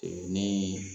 ni